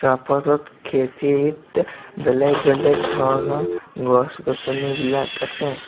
খেতিত বেলেগ বেলেগ ধৰণৰ গছ-গছনি বিলাক আছে।